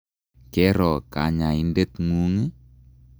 Kero kanyaindet ng'ung' ii?